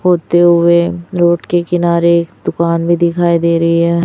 होते हुए रोड के किनारे दुकान भी दिखाई दे रही हैं।